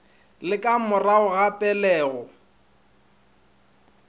le ka morago ga pelego